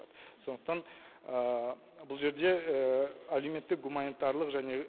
сондықтан бұл жерде әлеуметтік гуманитарлық және